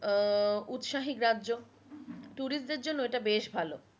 আহ উৎসাহী গ্রাহ্য tourist দেড় জন্য এটা বেশ ভালো